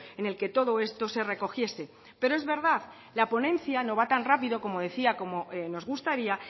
en el que todo esto se recogiese pero es verdad la ponencia no va tan rápido como decía como nos gustaría